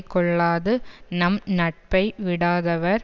கொள்ளாது நம் நட்பை விடாதவர்